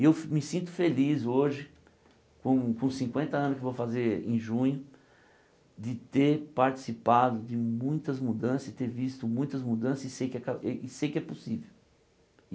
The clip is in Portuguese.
E eu me sinto feliz hoje, com com os cinquenta anos que eu vou fazer em junho, de ter participado de muitas mudanças e ter visto muitas mudanças e sei que aca e sei que é possível.